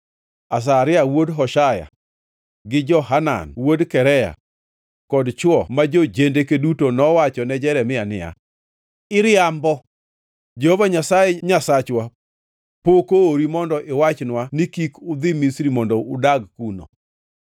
Azaria wuod Hoshaya gi Johanan wuod Karea kod chwo ma jo-jendeke duto nowachone Jeremia niya, “Iriambo! Jehova Nyasaye Nyasachwa pok oori mondo iwachnwa ni, ‘Kik udhi Misri mondo udag kuno.’